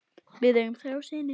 Við eigum þrjá syni.